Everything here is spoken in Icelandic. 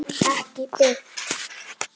Ekki beint